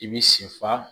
I bi sen fa